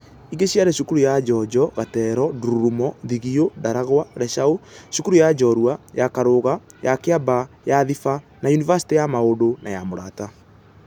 Ingi ciari cukuru ya Njonjo, Gatero, Ndururumo, Thigio, Ndaragwa, Leshau, Cukuru ya Njorua, ya Karũga, ya Kiambaa, ya Thiba na Yunivasitĩ ya Maundũ na ya Mũrata.